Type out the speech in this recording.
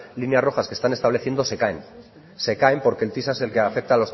líneas rojas que están estableciendo se caen se caen porque el tisa es el que afecta